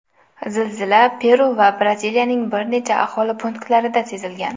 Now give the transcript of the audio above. Zilzilalar Peru va Braziliyaning bir necha aholi punktlarida sezilgan.